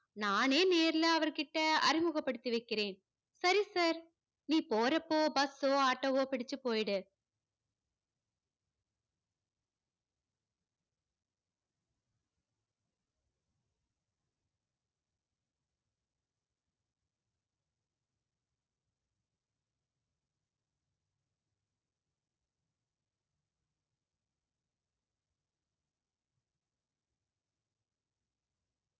நானே நேரில அவர்கிட்ட அறிமுகப்படுத்தி வைக்கிறேன். சரி sir நீ போறப்போ bus சோ auto வோ பிடிச்சு போயிடு